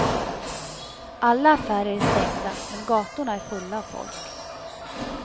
Alla affärer är stängda, men gatorna är fulla av folk.